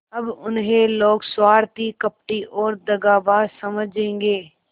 अब उन्हें लोग स्वार्थी कपटी और दगाबाज समझेंगे